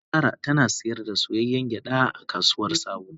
Yanzu Zara tana sayar da soyayyen gyada a kasuwar sabo